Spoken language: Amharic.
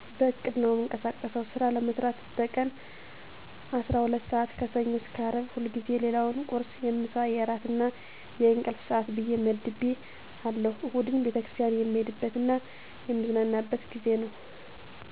በዕቅድ ነው እምቀሳቀሰው ስራ ለመስራት በቀን አስራ ሁለት ስዓት ከሰኞ እስከ ቅዳሜ ሁልጊዜ ሌላውን የቁርስ፣ የምሳ፣ የእራት እና የንቅልፍ ሰዓት ብየ መድቤ አለሁ እሁድን ቤተክርስቲያንን የምሄድበ ት እና የምዝናናበት ጊዜ ነዉ።